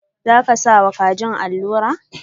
Za ka sa wa kajin alura?.